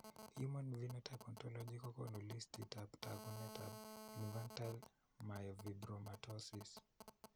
Human phenotype ontology kokoonu listiitab taakunetaab Infantile myofibromatosis.